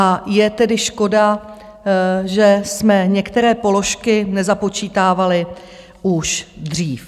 A je tedy škoda, že jsme některé položky nezapočítávali už dřív.